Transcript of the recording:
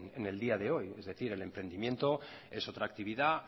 en el día de hoy es decir el emprendimiento es otra actividad